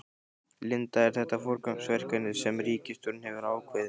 Linda, er þetta forgangsverkefni sem ríkisstjórnin hefur ákveðið?